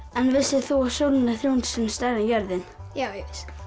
en vissir þú að sólin er þrjú hundruð sinnum stærri en jörðin já ég